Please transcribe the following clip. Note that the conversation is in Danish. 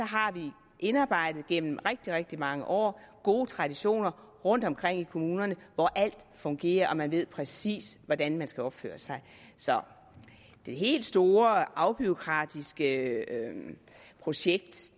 har vi indarbejdet gennem rigtig rigtig mange år gode traditioner rundtomkring i kommunerne hvor alt fungerer og man ved præcis hvordan man skal opføre sig så det helt store afbureaukratiske projekt